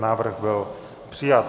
Návrh byl přijat.